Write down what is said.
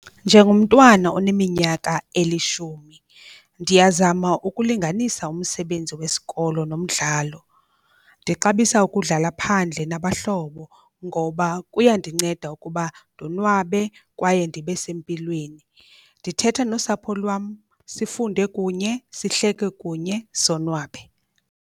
Njengomntwana oneminyaka elishumi ndiyazama ukulinganisa umsebenzi wesikolo nomdlalo. Ndixabisa ukudlala phandle nabahlobo ngoba kuyandinceda ukuba ndonwabe kwaye ndibe sempilweni. Ndithetha nosapho lwam, sifunde kunye, sihleke kunye sonwabe.